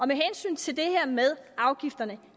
med hensyn til det her med afgifterne